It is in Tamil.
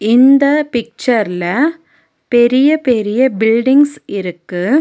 இந்த பிட்சர்ல பெரிய பெரிய பில்டிங்ஸ் இருக்கு.